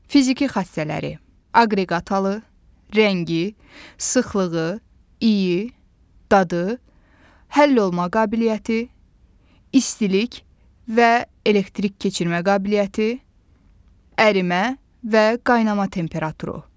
Fiziki xassələri: aqreqat halı, rəngi, sıxlığı, iyi, dadı, həllolma qabiliyyəti, istilik və elektrik keçirmə qabiliyyəti, ərimə və qaynama temperaturu.